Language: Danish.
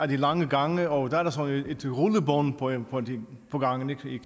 de lange gange og der er sådan nogle rullebånd på gangene